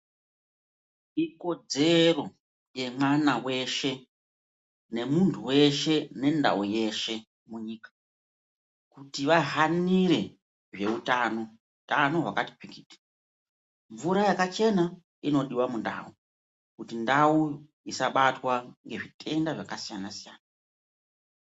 Ikodzero yemwana weshe nemunhu weshe nendau yeshe munyika kuti vahanire zveutano. Utano hwakati pikiti. Mvura yakachena inodiwa mundau kuti ndau isabatwa ngezvitenda zvakasiyana siyana.